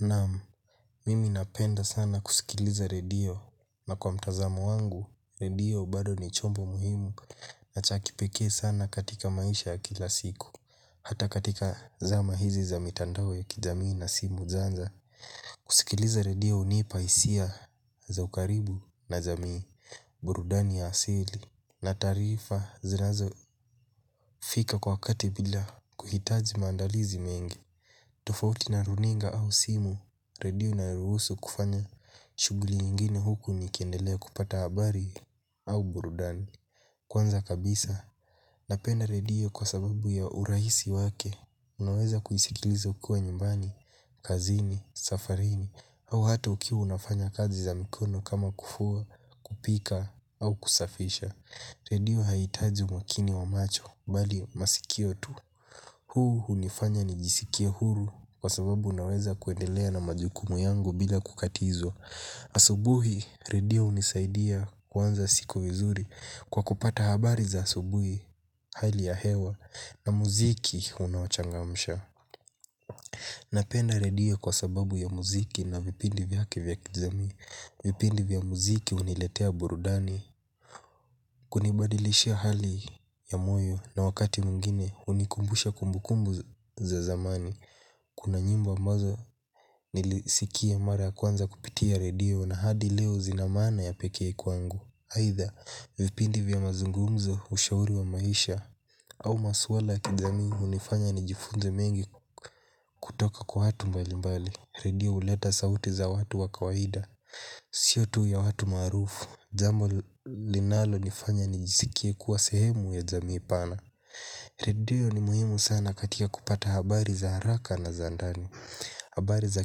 Naam mimi napenda sana kusikiliza redio na kwa mtazamo wangu, redio bado ni chombo muhimu na cha kipekee sana katika maisha ya kila siku. Hata katika zama hizi za mitandao ya kijamii na simu zaanza. Kusikiliza redio hunipa hisia za ukaribu na jamii burudani ya asili na taarifa zinazo fika kwa kati bila kuhitaji maandalizi mengi. Tofauti na runinga au simu, redio inaruhusu kufanya shughuli nyingine huku ni kiendelea kupata habari au burudani. Kwanza kabisa, napenda redio kwa sababu ya urahisi wake. Unaweza kuisikiliza ukiwa nyumbani, kazini, safarini, au hata ukia unafanya kazi za mikono kama kufua, kupika au kusafisha. Redio haitaji umakini wa macho, bali masikio tu. Huu hunifanya nijisikie huru kwa sababu unaweza kuendelea na majukumu yangu bila kukatizwa. Asubuhi redio hunisaidia kuanza siku vizuri kwa kupata habari za asubuhi hali ya hewa na muziki unawachanga msha. Napenda redio kwa sababu ya muziki na vipindi vyake vya kijamii. Vipindi vya muziki huniletea burudani. Kunibadilishia hali ya moyo na wakati mwngine hunikumbusha kumbukumbu za zamani. Kuna nyimbo ambazo nilisikia mara ya kwanza kupitia redio na hadi leo zina maana ya pekee kwangu aidha vipindi vya mazungumzo ushauri wa maisha. Au maswala ya kijamii hunifanya nijifunze mengi kutoka kwa watu mbalimbali. Redio huleta sauti za watu wakawahida. Sio tu ya watu maarufu jambo linalo nifanya nijisikie kuwa sehemu ya jamii pana. Redio ni muhimu sana katika kupata habari za haraka na za ndani habari za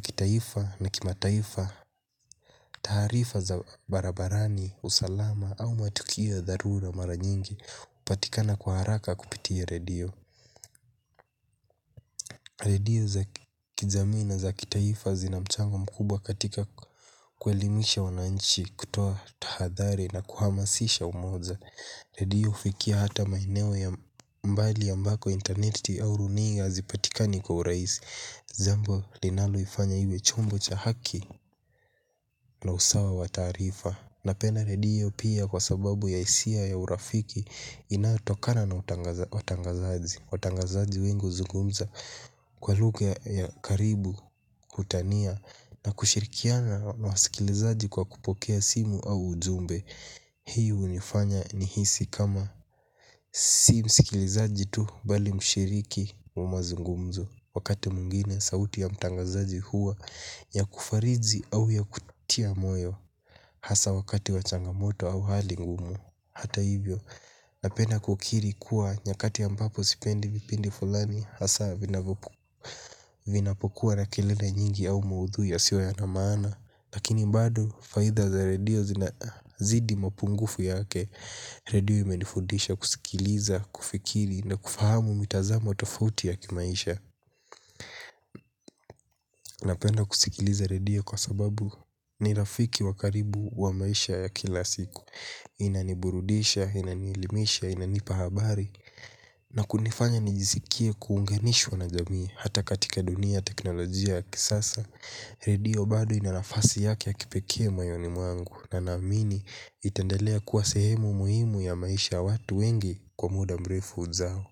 kitaifa na kimataifa, taarifa za barabarani, usalama au matukio ya dharura mara nyingi hupatikana kwa haraka kupitia radio. Radio za kijamii za kitaifa zina mchango mkubwa katika kuelimisha wananchi kutoa tahadhari na kuhamasisha umoja. Radio hufikia hata maeneo ya mbali ambako interneti au runiga hazipatikani kwa urahisi jambo linaloi fanya iwe chombo cha haki na usawa wa tarifa. Napenda radio pia kwa sababu ya hisia ya urafiki inayo tokana na watangazaji watangazaji wengi huzungumza kwa lugha ya karibu kutania na kushirikiana na wasikilizaji kwa kupokea simu au ujumbe. Hii h unifanya nihisi kama si msikilizaji tu bali mshiriki mazungumzo. Wakati mwingine, sauti ya mtangazaji huwa ya kufariji au ya kutia moyo. Hasa wakati wa changamoto au hali ngumu. Hata hivyo, napenda kukiri kuwa nyakati ambapo sipendi vipindi fulani. Hasa vinapokuwa na kelele nyingi au muudhui yasio ya na maana. Lakini bado, faida za redio zina zidi mapungufu yake redio imenifundisha kusikiliza kufikiri na kufahamu mitazamo tofauti ya kimaisha. Napenda kusikiliza redio kwa sababu ni rafiki wakaribu wa maisha ya kila siku. Inani burudisha, inani elimisha, inanipa habari na kunifanya nijisikie kuunganishwa na jamii hata katika dunia teknolojia ya kisasa redio bado ina nafasi yake ya kipekee mayoni mwangu. Na naamini itendelea kuwa sehemu muhimu ya maisha watu wengi kwa muda mrefu ujao.